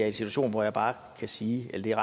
en situation hvor jeg bare kan sige eller det er